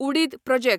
उडीद प्रोजेक्ट